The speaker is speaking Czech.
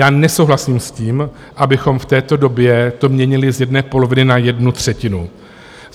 Já nesouhlasím s tím, abychom v této době to měnili z jedné poloviny na jednu třetinu.